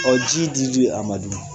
ji dili a ma du?